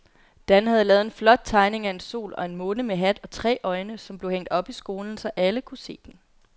Dan havde lavet en flot tegning af en sol og en måne med hat og tre øjne, som blev hængt op i skolen, så alle kunne se den.